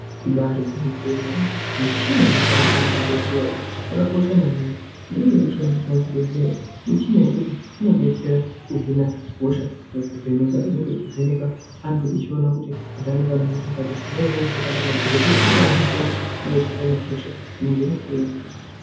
Ibari gwinyiso remeene michina inoshandiswa muzvibhedhleya yakakosha maningi imweni inoshandiswa muzvibhedhleya michina yekuti inodetsera kuhina hosha nekuvheneka inenge ichivheneka antu ichiona kuti antu anenge ane hosha yakadini zvinenge zviri zviro zvakanaka kuti dhokodheya unopa antu mutombo unoenderana nehosha inenge yapuwa.